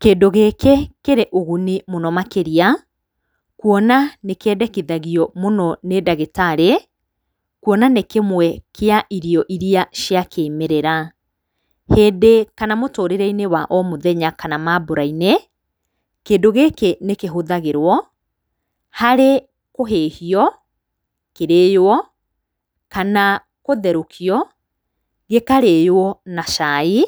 Kĩndũ gĩkĩ kĩrĩ ũguni mũno makĩria, kuona ni kĩendekithagio mũno nĩ ndagĩtarĩ, Kuona nĩ kĩmwe kĩa irio iria cia kĩmerera. Hĩndĩ kana mũtũrĩrei-inĩ wa o mũthenya ka maambũra-inĩ, kĩndũ gĩkĩ nĩ kĩhũthagĩrwo harĩ kũhĩhio kĩrĩyo kana gũtherukio gĩkarĩyo na cai.